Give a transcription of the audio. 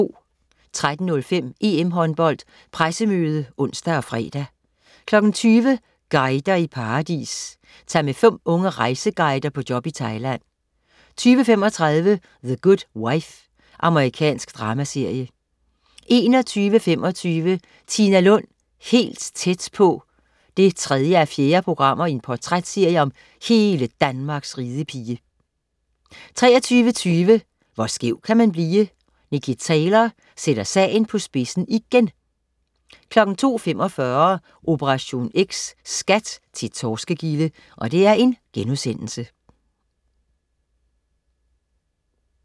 13.05 EM-Håndbold: Pressemøde (ons og fre) 20.00 Guider i paradis. Tag med fem unge rejseguider på job i Thailand 20.35 The Good Wife. Amerikansk dramaserie 21.25 Tina Lund, helt tæt på 3:4. Portrætserie om hele Danmarks ridepige 23.20 Hvor skæv kan man blive? Nicky Taylor sætter sagen på spidsen igen! 02.45 Operation X: SKAT til torskegilde*